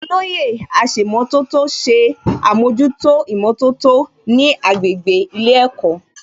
Olóyè aṣèmọ̀tótó ṣe àmójútó ìmọ̀tótó ní agbègbè ilé ẹ̀kọ́